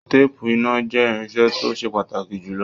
Teepu iná jẹ irinṣẹ́ to se pàtàkì jùlọ.